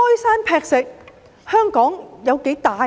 然而，香港有多大呢？